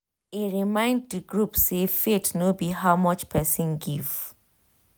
e remind d group say faith no be how much person give. um